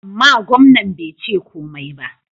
Amma, gwamnan bai ce komai ba.